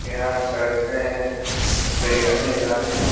यहाँ चर्च में प्रे करने जाते हैं।